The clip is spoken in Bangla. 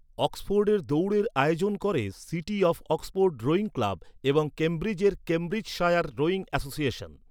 অক্সফোর্ডের দৌড়ের আয়োজন করে city of Oxford rowing club এবং কেমব্রিজের কেম্ব্রিজশায়ার রোয়িং অ্যাসোসিয়েশন।